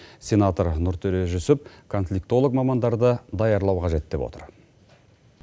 сенатор нұртөре жүсіп конфликтолог мамандарды даярлау қажет деп отыр